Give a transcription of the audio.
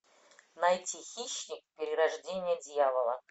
найти хищник перерождение дьявола